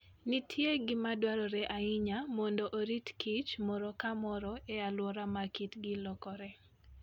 Nitie gima dwarore ahinya mondo oritkichok moro ka moro e alwora ma kitgi lokoree.